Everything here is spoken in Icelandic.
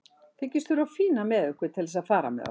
Þykist vera of fínar með ykkur til þess að fara með okkur.